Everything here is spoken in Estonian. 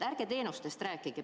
Ärge teenustest rääkige.